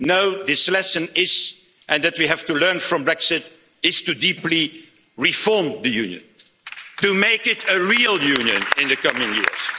here no, this lesson is and we have to learn this from Brexit to deeply reform the union, to make it a real union in the coming years.